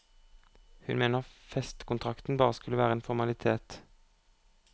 Hun mener festekontrakten bare skulle være en formalitet.